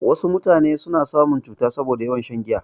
Wasu mutanen suna samun cuta saboda yawan shan giya.